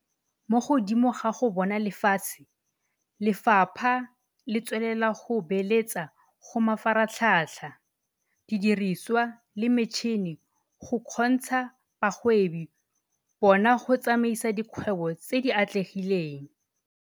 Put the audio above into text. Mo godimo ga go bona lefatshe, Lefapha le tswelela go beeletsa go mafaratlhatlha, didiriswa le metšhini go kgontsha bagwebi bano go tsamaisa dikgwebo tse di atlegileng.